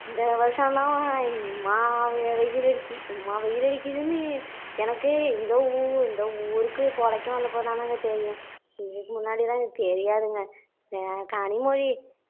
இந்த வருஷந்தான் இம்மா வெயில் அடிக்கி இம்மா வெயில் அடிக்கிதுன்னு எனக்கே இந்த ஊ இந்த ஊருக்கு பொழைக்க வந்தப்போ தானுங்க தெரியும் இதுக்கு முன்னாடி எல்லாம் தெரியாதுங்க ஏ கனிமொழி